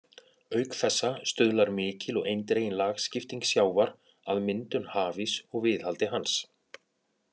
Auk þessa stuðlar mikil og eindregin lagskipting sjávar að myndun hafíss og viðhaldi hans.